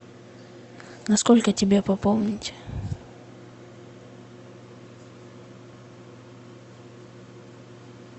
на сколько тебе пополнить